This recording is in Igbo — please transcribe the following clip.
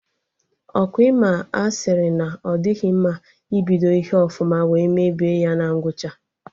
Ọkwa Ị ma a sịrị na ọ dịghị mma ibodi ihe ọfụma wee mebie ya na ngwụcha?